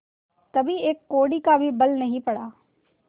कभी एक कौड़ी का भी बल नहीं पड़ा